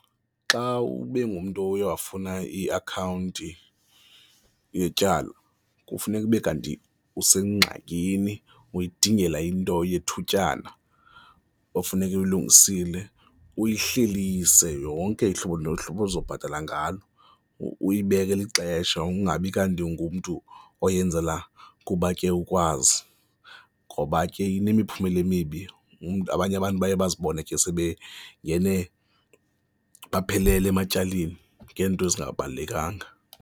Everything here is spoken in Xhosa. Xa ube ngumntu uye awafuna iakhawunti yetyala kufuneka ube kanti usengxakini, uyidingela into yethutyana, ofuneka uyilungisile, uyihlelise yonke ihlobo nohlobo ozobhatala ngalo, uyibekele ixesha ungabi kanti ungumntu oyenzela kuba ke ukwazi, ngoba ke inemiphumela emibi. Umntu abanye abantu baye bazibone ke sebengene baphelela ematyaleni ngeento ezingabalulekanga.